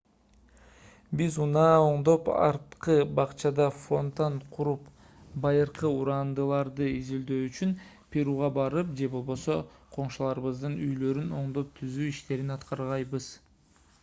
биз унаа оңдоп арткы бакчада фонтан куруп байыркы урандыларды изилдөө үчүн перуга барып же болбосо коңшуларыбыздын үйлөрүн оңдоп-түзөө иштерин аткарбайбыз